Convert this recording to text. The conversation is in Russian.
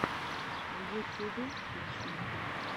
в ютьюбе песни